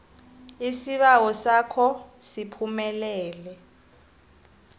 isibawo sakho siphumelele